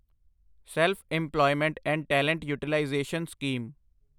self employment and talent utilisation scheme